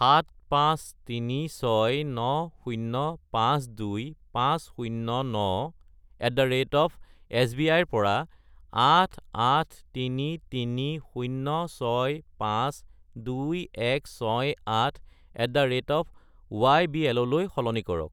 75369052509@sbi -ৰ পৰা 88,33,065,2168@ybl -লৈ সলনি কৰক।